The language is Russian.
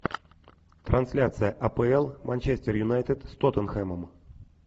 трансляция апл манчестер юнайтед с тоттенхэмом